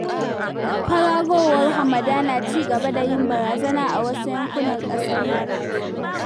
Kwararowar hamada na ci gaba da yin barazana a wasu yankunan ƙasar nan.